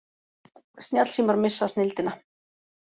Snjallsímar missa snilldina